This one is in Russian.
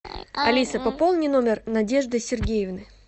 алиса пополни номер надежды сергеевны